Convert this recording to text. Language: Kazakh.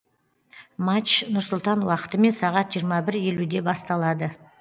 матч нұр сұлтан уақытымен сағат жиырма бір елуде басталады